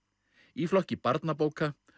í flokki barnabóka